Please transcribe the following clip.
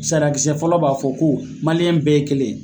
Sariyakisɛ fɔlɔ b'a fɔ ko bɛɛ ye kelen ye.